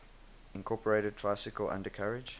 incorporated tricycle undercarriage